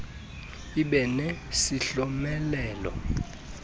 ibe ne isihlomelo